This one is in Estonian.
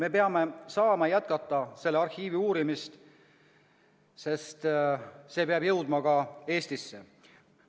Me peame saama jätkata selle arhiivi uurimist, see peab jõudma ka Eestisse.